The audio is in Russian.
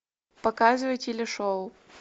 показывай телешоу